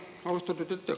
Suur tänu!